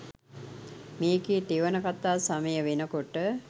මේකේ තෙවන කතා සමයවෙනකොට